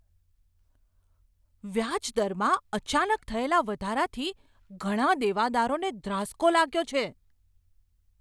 વ્યાજદરમાં અચાનક થયેલા વધારાથી ઘણા દેવાદારોને ધ્રાસ્કો લાગ્યો છે.